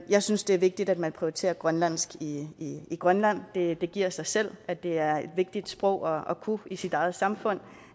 jeg synes det er vigtigt at man prioriterer grønlandsk i grønland det det giver sig selv at det er et vigtigt sprog at kunne i sit eget samfund